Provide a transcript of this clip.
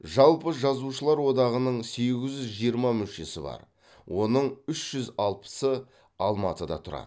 жалпы жазушылар одағының сегіз жүз жиырма мүшесі бар оның үш жүз алпысы алматыда тұрады